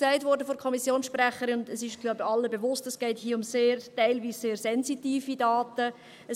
Von der Kommissionssprecherin wurde gesagt – und dies ist, glaube ich, allen bewusst –, dass es hier teilweise um sehr sensitive Daten geht: